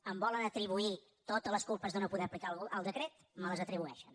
em volen atribuir totes les culpes de no poder aplicar el decret me les atribueixen